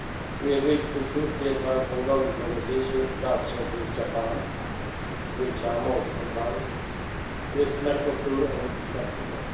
We agreed to swiftly advance ongoing negotiations, such as with Japan, which are most advanced, with Mercosur and Mexico.